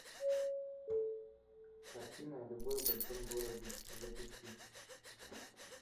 картина любовь в большом городе запусти